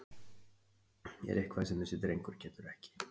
Er eitthvað sem þessi drengur getur ekki?!